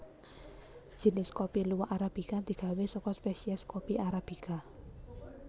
Jinis kopi luwak arabika digawé saka spèsiès kopi arabica